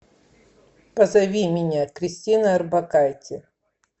позови меня кристина орбакайте